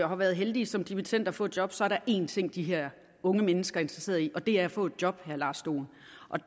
har været heldige som dimittender at få et job så er der én ting de her unge mennesker er interesseret i og det er at få et job